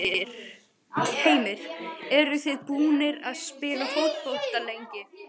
Heimir: Eruð þið búnir að spila fótbolta lengi?